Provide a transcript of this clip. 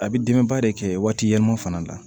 A bɛ dɛmɛba de kɛ waati yɛlɛma fana na